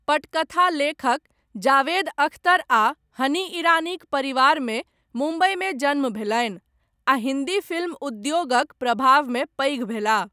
पटकथा लेखक जावेद अख्तर आ हनी ईरानीक परिवारमे मुम्बइमे जन्म भेलनि, आ हिन्दी फिल्म उद्योगक प्रभावमे पैघ भेलाह।